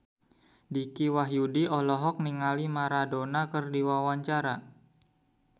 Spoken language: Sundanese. Dicky Wahyudi olohok ningali Maradona keur diwawancara